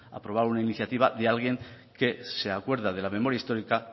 aprobar una iniciativa de alguien que se acuerda de la memoria histórica